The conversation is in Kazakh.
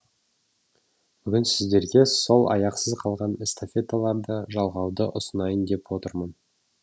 бүгін сіздерге сол аяқсыз қалған эстафеталарды жалғауды ұсынайын деп отырмын